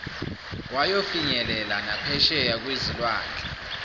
wayofinyelela naphesheya kwezilwandle